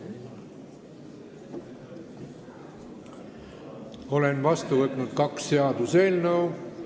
Olen vastu võtnud kaks seaduseelnõu.